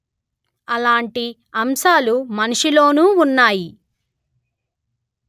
అలాంటి అంశాలు మనిషిలోనూ ఉన్నాయి